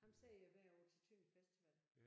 Ham ser jeg hvert år til Tønder festival